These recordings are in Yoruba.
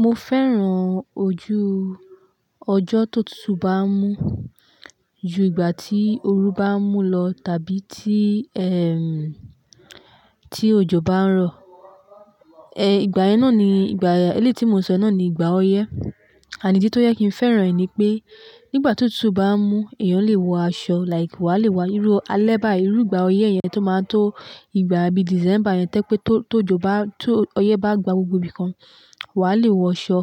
Mo fẹ́ràn ojú ọjọ́ tó tutù bá ń mú ju ìgbà tí òru bá ń mú lọ tàbí tí, ẹm, tí òjò bá ń rọ̀. Ẹ, ìgbà yẹn náà ni ìgbà, eléti mo ṣọ náà ni ìgbà ọyẹ́. And ìdí tó jẹ́ kín fẹ́ràn rẹ̀ nípé nígbàtí òtútù bá mú èèyàn lè wọ aṣọ like wá lè irú alẹ́ báyìí irú ìgbà ọyẹ́ yẹn tó ma tó ìgbà bí december yẹn tó jẹ́ pé tó, tó jò bá, tó ọyẹ́ bá gba gbogbo ibìkan, wà á lè wọ aṣọ,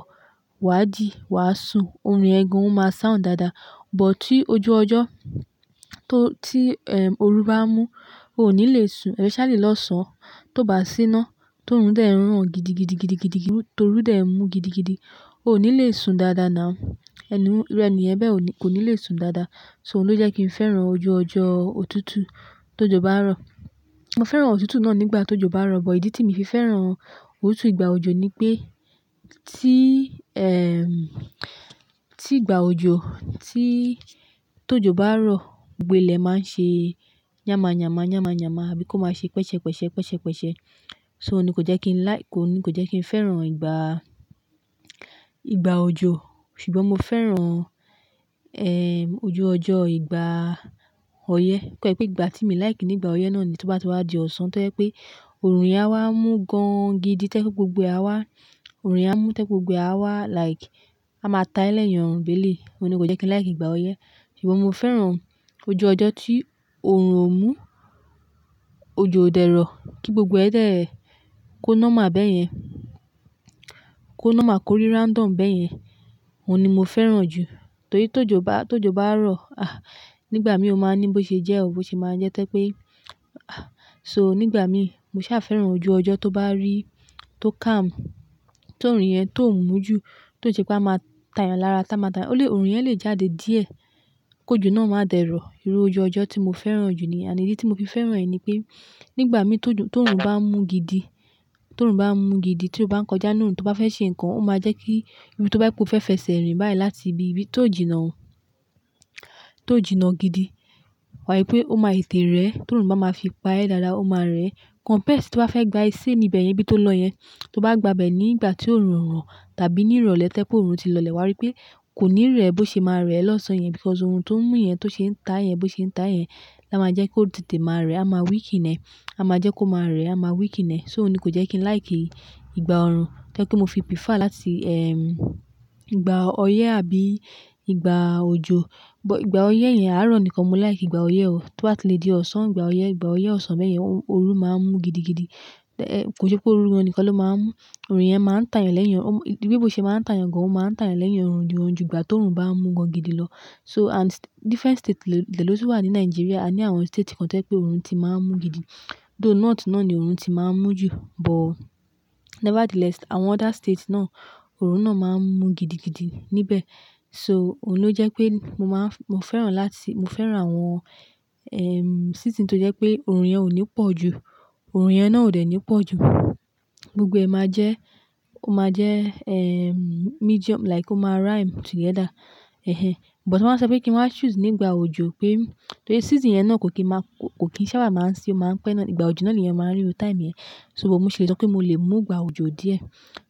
wà á dì, wà á sùn, òòrùn yẹn gan-an máa sound dàda. But tí ojú ọjọ́ tó tí, ẹm, òru bá ń mú, o ò ní lè sùn, especially lọ́sàn-án tó bá sí iná tó orùn dẹ́ ńran gidigidigidigidi, tó òru dẹ́ ń mú gidigidi, o ò ní lè sùn dàda nàú. Ẹni un irú ẹniyẹn bẹ́ẹ̀ o ní, kò ní lè sùn dàda. So oun ló jẹ́ kín fẹ́ràn ojú ọjọ́ òtútù tí òjò bá rọ̀. Mo fẹ́ràn òtútù náà nígbàtí òjò bá rọ̀ but ìdí tí mi oo fi fẹ́ràn òtútù ìgbà òjò nípé tí ìgbà òjò tí òjò bá rọ̀ gbogbo ilé maa n ṣe yámàyámà àbí kí oo ma ṣe pẹ̀ṣẹ̀pẹ̀ṣẹ̀ so oun ni kò jẹ́ kín like, oun ni kò jẹ́ kín fẹ́ràn ìgbà òjò. Ṣùgbọ́n mo fẹ́ràn, ẹm, ojú ọjọ́ ìgbà ọyẹ́. Kọ́ jẹ́ pé ìgbà tí mi like ní ìgbà ọyẹ́ náà ni tí ó bá ti wá di ọ̀sán tó jẹ́ pé òòrùn yẹn á wá mú gan gidi tó jẹ́ pé gbogbo ẹ áwá, òòrùn yẹn á mú tó jẹ́ pé gbogbo ẹ á wá like, a máa ta ee lẹ́yìn orun béle. Ó ni kò jẹ́ kí n like ìgbà ọyẹ́. Ṣùgbọ́n mo fẹ́ràn ojú ọjọ́ tí òòrùn ò mú, òjò ò dẹ̀rọ̀ kí gbogbo ẹ dẹ́ẹ̀ kó normal bẹ́yẹn, kó normal korí random bẹ́ yẹn. Óun ni mo fẹ́ràn jù. Torí tó jò bá, tó jò bá ń rọ̀, ah, nígbà mí ò máa ní bó ṣe jẹ́ ọ́ bó ṣe máa jẹ́ tó jẹ́ pé, ah. So nígbà mí, mo sá fẹ́ràn ojú ọjọ́ tó bá rí, tó calm, tó òòrùn yẹn tó ń mú ju, tó jẹ́ pé a máa ta èèyàn lára tá máa ta. Ó lè, òòrùn yẹn lè jáde díẹ̀ kó jò náà máa dẹ̀ rọ̀. Irú ojú ọjọ́ tí mo fẹ́ràn jù níyẹn. And ìdí tí mo fi fẹ́ràn rẹ̀ ni pé nígbà mí tó jù, tó òòrùn bá ń mú gidi, tó òòrùn bá ń mú gidi tí ó bá ń kọjá nù tó bá fẹ́ ṣe nǹkan, ó máa jẹ́ kí ibi tó bá jẹ́ pé, ó fẹ́ fẹsẹ̀ rìn báyìí láti ibi tó jìnnà òun, tó jìnnà gidi. Wàá rí pé ó máa tètè rẹ́ tí òòrùn bá máa fi pa ẹ́ dáadáa, ó máa rẹ̀. Compare sí wàá fẹ́ gba iṣẹ́ ní ibẹ̀ yẹn bí tó lọ yẹn, tó bá gba bẹ̀ nígbà tí òòrùn ń rọ̀ tàbí ní ìrọ̀lẹ́ tó jẹ́ pé òòrùn ti lọlẹ̀ wá rí pé kò ní rẹ̀ bó ṣe máa rẹ̀ lọ́sàn-án yẹn because orun tó ń mú yẹn tó ṣe ń tà yẹn, bó ṣe ń tà yẹn, lá máa jẹ́ kó tètè máa rẹ̀, á máa weaken ẹ̀. A máa jẹ́ kó máa rẹ̀, á máa weaken ẹ̀. So òun ni kò jẹ́ kí n like ìgbà òòrùn tó jẹ́ pé mo fi prefer láti, ẹm, ìgbà ọyẹ́ àbí ìgbà òjò. But ìgbà ọyẹ́ yẹn á rọ̀ nìkan mo like ìgbà ọyẹ́ o. Tó bá ti lè dí ọ̀sán ìgbà ọyẹ́, ìgbà ọyẹ́ ọ̀sán bẹ́yẹn òòrùn máa ń mú gidigidi. Ẹ, kò sẹ́ pé òòrù nìkan ló máa ń mú, òòrùn yẹn máa ń tà èèyàn lẹ́yìn, ó mú, bí bó ṣe máa ń tà èèyàn gan-an ó máa ń tà èèyàn lẹ́yìn òòrùn ni ju ìgbà tó òòrùn bá ń mú gan gidi lọ. So and different states dẹ́lọ́ tún wà ní Nigeria, a ní àwọn state kan tó jẹ́ pé òòrùn ti máa ń mú gidi. Though north náà ni òòrùn ti máa ń mú jù, but nevertheless àwọn other states náà òòrùn náà máa ń mú gidigidi níbẹ̀. So òun ló jẹ́ pé mo máa ń, mo fẹ́ràn láti, mo fẹ́ràn àwọn, ẹm, season tó jẹ́ pé òòrùn yẹn ò ní pọ̀ ju, òòrùn yẹn náà ò dẹ́ ní pọ̀ ju. Gbogbo ẹ̀ máa jẹ́, ó máa jẹ́, ẹm, medium like ó máa rhyme together. Ẹhẹ́n. But tí wọ́n bá sọ pé kí n wáa choose nígbà òjò pé torí season yẹn náà kò kí n máa, kò kí sábà máa ń sí, ó máa ń pẹ́ náà. Ìgbà òjò náà ni èèyàn máa ń ríru time yẹn. So but mo ṣì lè sọ pé mo lè mú ìgbà òjò díẹ̀.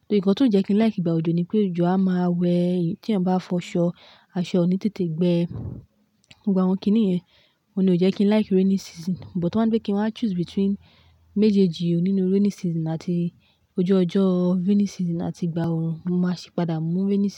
Torí nǹkan tí oo jẹ́ kín like ìgbà òjò nípé òjò aa ma wẹ̀ tí èèyàn bá fọ aṣọ, aṣọ oo ní tètè gbẹ. Gbogbo àwọn kíni yẹn. Ó ni ò jẹ́ kí n like rainy season. But tí wọ́n bá gbé kí n máa choose between méjèèjì nínú rainy season àti ojú ọjọ́, rainy season àti ìgbà òòrùn, mo máa sì padà mú rainy season.